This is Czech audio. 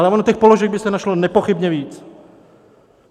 Ale ono těch položek by se našlo nepochybně víc.